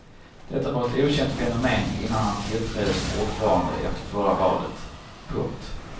Detta var ett okänt fenomen innan han tillträdde som ordförande efter förra valet. punkt